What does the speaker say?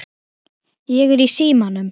Ég er í símanum